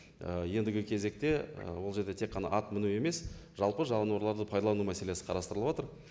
ііі ендігі кезекте і ол жерде тек қана ат міну емес жалпы жануарларды пайдалану мәселесі қарастырылып отыр